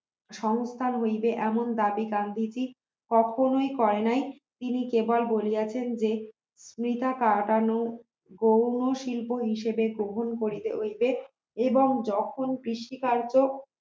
সংস্থাগুলিতে এমন ভাবে গান্ধীজি কখনোই করে নাই তিনি কেবল বলিয়াছেন যে ফিতা কাটানো জরুরি শিল্প হিসেবে গ্রহণ করিতে হইবে এবং যখন কৃষিকার্য